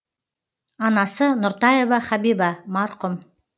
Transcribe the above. анасы нұртаева хабиба марқұм